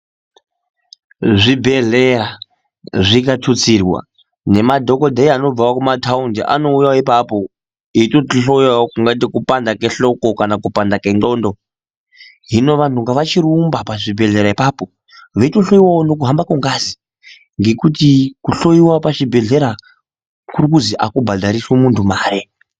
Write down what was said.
Zvibhedhleya zvikatutsirwa ngemadhogodheya anobvavo kumataundi anouya ipapo eitotihoyavo tingati kupanda kwehloko kana kupanda kwendxondo. Hino vantu ngavachirumba pachibhedhlera ipapo veitohloiwavo nekuhamba kwengazi. Ngekuti kuhloiwa pachibhedhlera kuri kuzi hakubhadhariswi muntu mare.